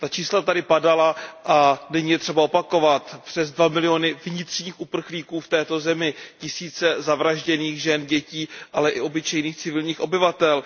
Ta čísla tady padala a není třeba je opakovat, přes dva miliony vnitřních uprchlíků v této zemi, tisíce zavražděných žen, dětí, ale i obyčejných civilních obyvatel.